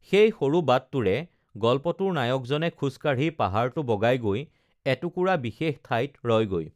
সেই সৰু বাটটোৰে গল্পটোৰ নায়কজনে খোজকাঢ়ি পাহাৰটো বগাই গৈ এটুকুৰা বিশেষ ঠাইত ৰয়গৈ